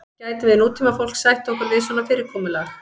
gætum við nútímafólk sætt okkur við svona fyrirkomulag